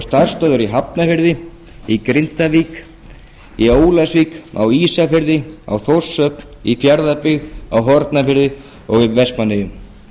starfsstöðvar í hafnarfirði í grindavík í ólafsvík á ísafirði á þórshöfn í fjarðabyggð á hornafirði og í vestmannaeyjum